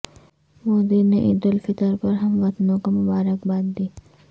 مودی نے عید الفطر پر ہم وطنوں کو مبارکباد دی